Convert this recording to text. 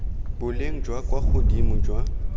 boleng jwa kwa godimo jwa